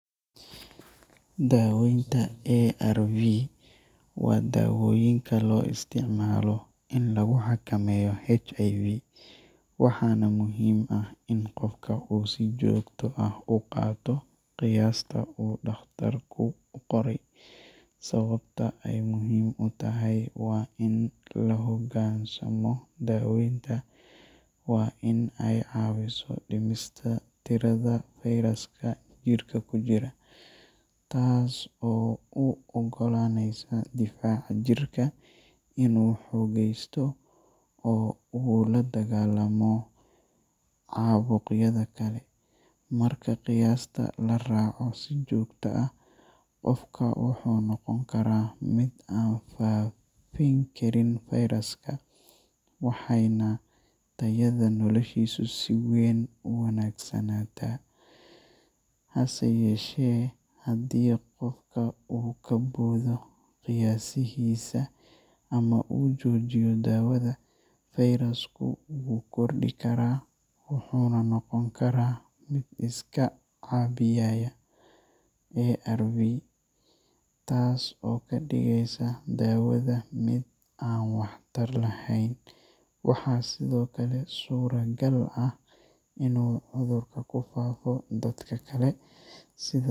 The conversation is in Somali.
Daawaynta ARV waa dawooyinka loo isticmaalo in lagu xakameeyo HIV, waxaana muhiim ah in qofka uu si joogto ah u qaato qiyaasta uu dhakhtarku u qoray. Sababta ay muhiim u tahay in la hoggaansamo daawaynta waa in ay caawiso dhimista tirada fayraska jidhka ku jira, taas oo u oggolaanaysa difaaca jirka inuu xoogaysto oo uu la dagaallamo caabuqyada kale. Marka qiyaasta la raaco si joogto ah, qofka wuxuu noqon karaa mid aan faafin karin fayraska, waxayna tayada noloshiisu si weyn u wanaagsanaataa. Hase yeeshee, haddii qofka uu ka boodo qiyaasihiisa ama uu joojiyo daawada, fayrasku wuu kordhi karaa, wuxuuna noqon karaa mid iska caabbiyaya ARV, taas oo ka dhigaysa daawada mid aan waxtar lahayn. Waxaa sidoo kale suuragal ah inuu cudurku ku faafo dadka kale. Sida.